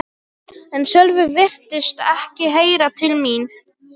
En Sölvi virtist ekki heyra til mín.